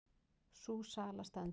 Sú sala stendur.